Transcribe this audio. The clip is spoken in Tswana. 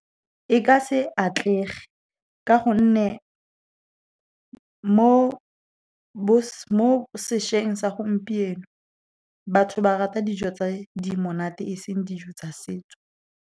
E ka se atlege ka gonne mo sešweng sa gompieno, batho ba rata dijo tse di monate, e seng dijo tsa setso.